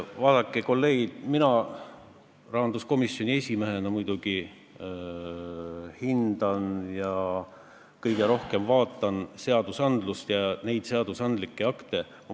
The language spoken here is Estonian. Vaadake, kolleegid, mina rahanduskomisjoni esimehena muidugi hindan ja vaatan kõige rohkem neid seadusandlikke akte ...